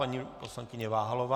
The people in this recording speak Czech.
Paní poslankyně Váhalová.